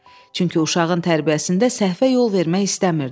Çünki uşağın tərbiyəsində səhvə yol vermək istəmirdi.